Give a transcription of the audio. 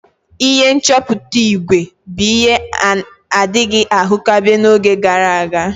Ihe nchọpụta ígwè bụ ihe a na-adịghị ahụkebe n'oge gara aga.